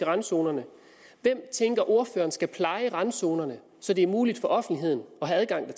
randzonerne hvem tænker ordføreren skal pleje randzonerne så det er muligt for offentligheden at have adgang